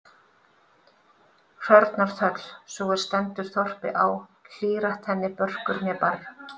Hrörnar þöll, sú er stendur þorpi á, hlýr-at henni börkur né barr.